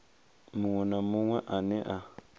muṅwe na muṅwe ane a